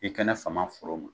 I kɛnɛ fama foro ma